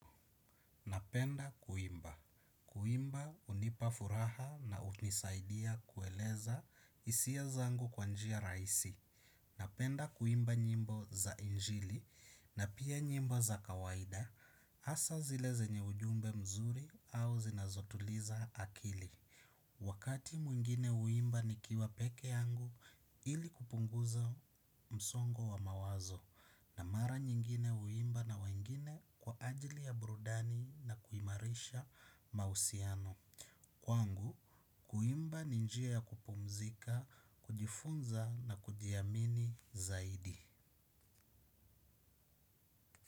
Napenda kuimba, kuimba hunipa furaha na hunisaidia kueleza hisia zangu kwa njia rahisi. Napenda kuimba nyimbo za injili na pia nyimbo za kawaida asa zile zenye ujumbe mzuri au zinazotuliza akili. Wakati mwingine uimba nikiwa peke yangu ili kupunguza msongo wa mawazo na mara nyingine huimba na wengine kwa ajili ya brudani na kuimarisha mausiano. Kwangu, kuimba ni njia ya kupumzika, kujifunza na kujiamini zaidi.